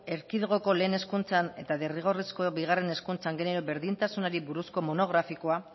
erkidegoko lehen hezkuntzan eta derrigorrezko bigarren hezkuntzan genero berdintasunari buruzko monografikoa